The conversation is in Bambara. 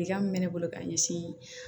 min bɛ ne bolo ka ɲɛsin